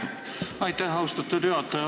Aitäh, austatud juhataja!